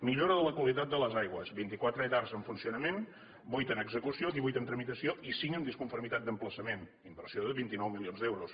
millora de la qualitat de les aigües vint quatre edar en funcionament vuit en execució divuit en tramitació i cinc en disconformitat d’emplaçament inversió de vint nou milions d’euros